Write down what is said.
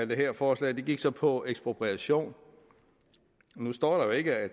det her forslag gik så på ekspropriation nu står der jo ikke at